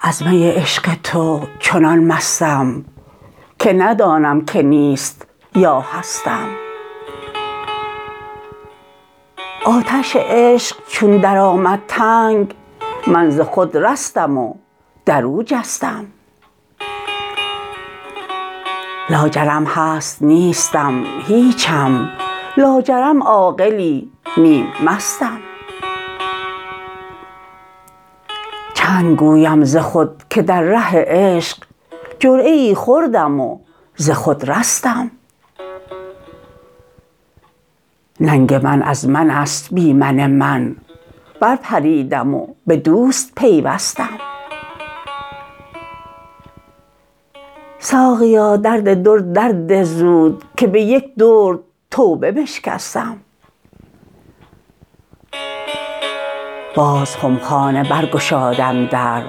از می عشق تو چنان مستم که ندانم که نیست یا هستم آتش عشق چون درآمد تنگ من ز خود رستم و درو جستم لاجرم هست نیستم هیچم لاجرم عاقلی نیم مستم چند گویم ز خود که در ره عشق جرعه ای خوردم و ز خود رستم ننگ من از من است بی من من بر پریدم به دوست پیوستم ساقیا درد درد در ده زود که به یک درد توبه بشکستم باز خمخانه برگشادم در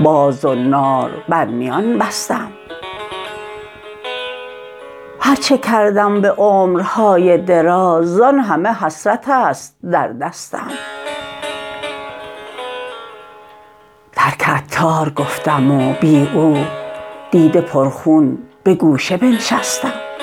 باز زنار بر میان بستم هرچه کردم به عمرهای دراز زان همه حسرت است در دستم ترک عطار گفتم و بی او دیده پر خون به گوشه بنشستم